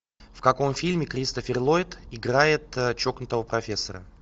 в каком фильме кристофер ллойд играет чокнутого профессора